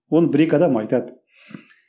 оны бір екі адам айтады